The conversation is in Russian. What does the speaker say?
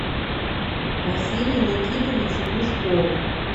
василию никитовичу глушкову